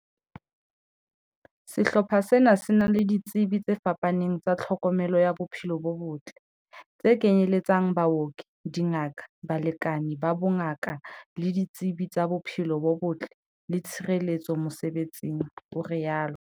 "Sehlopha sena se na le ditsebi tse fapaneng tsa tlhokomelo ya bophelo bo botle, tse kenye letsang, baoki, dingaka, balekani ba bongaka le ditsebi tsa bophelo bo botle le tshireletso mosebe tsing," o rialo.